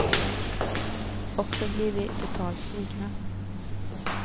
Och så blir vi totalt svikna.